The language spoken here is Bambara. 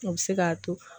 O bɛ se k'a to